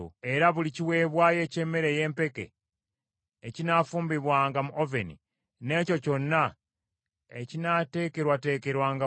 Era buli kiweebwayo eky’emmere ey’empeke ekinaafumbibwanga mu oveni n’ekyo kyonna ekinaateekerwateekerwanga ku fulampeni oba ku lukalango, kabona oyo akiwaddeyo y’anaakitwalanga.